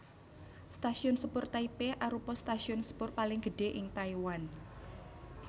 Stasiun Sepur Taipei arupa stasiun sepur paling gedhé ing Taiwan